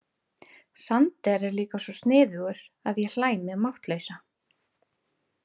Sander er líka svo sniðugur að ég hlæ mig máttlausa.